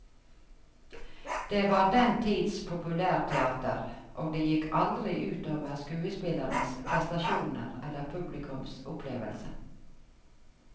Det var den tids populærteater, og det gikk aldri ut over skuespillernes prestasjoner eller publikums opplevelse.